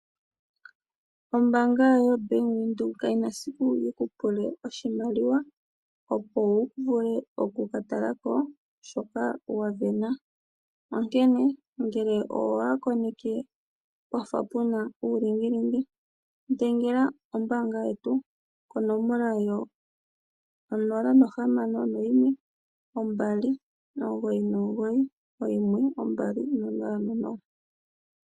Ombaanga yo Bank Windhoek ka yi na nando esiku yi kupule oshimaliwa opo wuvule okukatalako shoka wasindana. Onkene ngele owa koneke pwafa pe na uulingilingi dhengela kombaanga konomola yongodhi 061 2991200